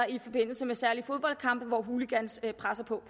i forbindelse med særlige fodboldkampe hvor hooligans presser på